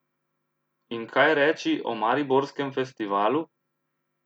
In kaj reči o mariborskem festivalu?